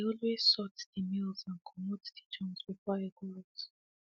i dey always sort de mails and commote de junk before i go out